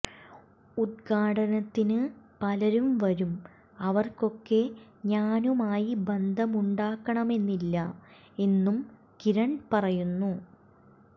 ഉദ്ഘാടനത്തിന് പലരും വരും അവർക്കൊക്കെ ഞാനുമായി ബന്ധമുണ്ടാകണമെന്നില്ല എന്നും കിരൺ പറയുന്നു